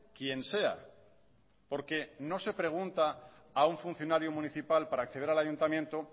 quien sea porque no se pregunta a un funcionario municipal para acceder al ayuntamiento